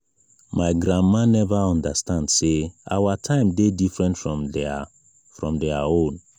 my grandma neva understand sey our time dey different from their from their own.